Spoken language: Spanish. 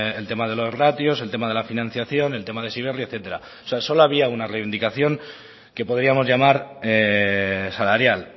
el tema de los ratios el tema de la financiación el tema de heziberri etcétera o sea solo había una reivindicación que podríamos llamar salarial